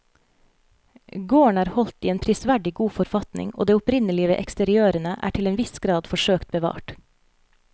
Gården er holdt i en prisverdig god forfatning og det opprinnelige ved eksteriørene er til en viss grad forsøkt bevart.